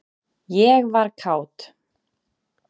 ég var kát.